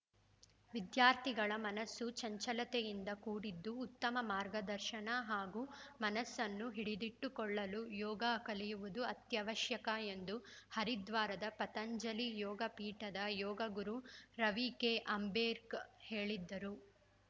ವಿದ್ಯಾರ್ಥಿಗಳ ಮನಸ್ಸು ಚಂಚಲತೆಯಿಂದ ಕೂಡಿದ್ದು ಉತ್ತಮ ಮಾರ್ಗದರ್ಶನ ಹಾಗೂ ಮನ್ನಸ್ಸನ್ನು ಹಿಡಿದಿಟ್ಟುಕೊಳ್ಳಲು ಯೋಗ ಕಲಿಯುವುದು ಅತ್ಯವಶ್ಯಕ ಎಂದು ಹರಿದ್ವಾರದ ಪತಂಜಲಿ ಯೋಗ ಪೀಠದ ಯೋಗ ಗುರು ರವಿ ಕೆಅಂಬೇರ್ಕ್ ಹೇಳಿದ್ದರು